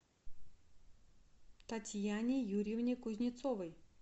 татьяне юрьевне кузнецовой